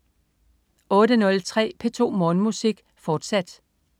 08.03 P2 Morgenmusik, fortsat